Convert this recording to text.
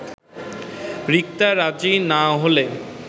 রিক্তা রাজি না হলে